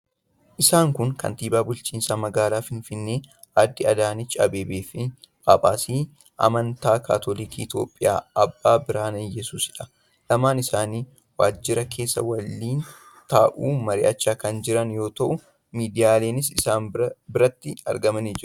Isaan kun kantiibaa bulchiinsa magaalaa Finfinnee Aadde Adaanech Abeebee fi Phaaphaasii amantaa Kaatoolikii Itiyoophiyaa Abbaa Birhaane Iyyesuusiidha. Lamaan isaanii waajjira keessa waliin taa'uun mari'achaa kan jiran yoo ta'u, miidiyaaleenis biratti argamanii jiru.